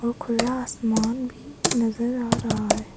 और खुला आसमान भी नजर आ रहा है।